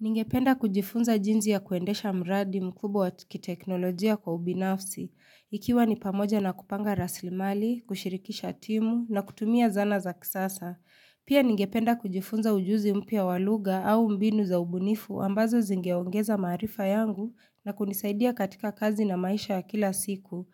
Ningependa kujifunza jinsi ya kuendesha mradi mkubwa wa kiteknolojia kwa ubinafsi, ikiwa ni pamoja na kupanga rasili mali, kushirikisha timu, na kutumia zana za kisasa. Pia ningependa kujifunza ujuzi mpya wa lugha au mbinu za ubunifu ambazo zingeongeza marifa yangu na kunisaidia katika kazi na maisha ya kila siku.